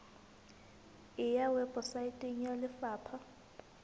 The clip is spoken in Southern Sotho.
e ya weposaeteng ya lefapha